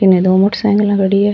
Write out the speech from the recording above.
इनने दो motorcycle खड़ी है।